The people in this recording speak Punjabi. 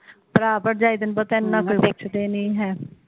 ਭਰਾ ਭਰਜਾਈ ਤੈਨੂੰ ਪਤਾ ਏਨਾ ਕੋਈ